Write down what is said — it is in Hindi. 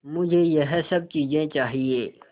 मुझे यह सब चीज़ें चाहिएँ